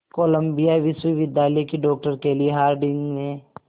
Colombia विश्वविद्यालय की doctor Kelly Harding ने